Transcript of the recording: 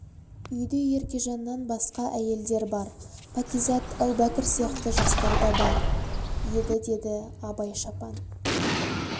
үйде еркежаннан басқа да әйелдер бар пәкизат әубәкір сияқты жастар да бар еді деді абай шапан